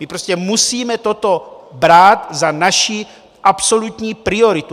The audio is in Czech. My prostě musíme toto brát za naši absolutní prioritu.